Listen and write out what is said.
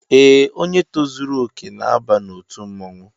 Ee, onye tozuru okè na-aba n'otu mmọnwụ